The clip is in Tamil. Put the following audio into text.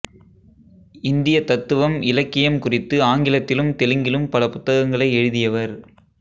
இந்திய தத்துவம் இலக்கியம் குறித்து ஆங்கிலத்திலும் தெலுங்கிலும் பல புத்தகங்களை எழுதியவர்